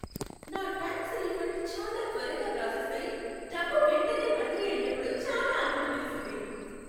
నా tax refund చాలా త్వరగా ప్రాసెస్ అయి, డబ్బు వెంటనే బదిలీ అయినప్పుడు చాలా ఆనందమేసింది.